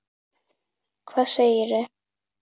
Hvað segirðu?